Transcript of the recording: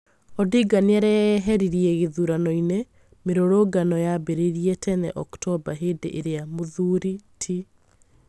Odinga nĩareyeheririe gĩthurano-inĩ, mĩrurungano yambĩrĩirie tene oktoba hĩndĩ ĩria Mũthuri ti